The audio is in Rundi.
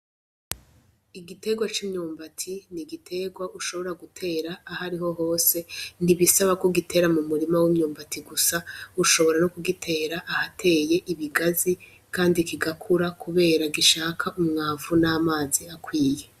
Igiterwa c'imyumbati ni igiterwa ushobora gutera ahariho hose, ntibisaba ko igiterwa mu murima w'imyumbati gusa, ushobora no kugitera ahateye ibigazi kandi kigakura kubera gishaka umwavu n'amazi akwiye.